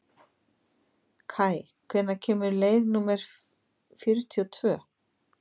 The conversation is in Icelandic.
Kaj, hvenær kemur leið númer fjörutíu og tvö?